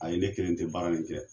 Ayi ne kelen tɛ baara in kɛ.